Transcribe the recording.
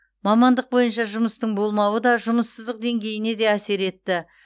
мамандық бойынша жұмыстың болмауы да жұмыссыздық деңгейіне де әсер етті